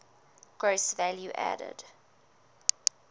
gross value added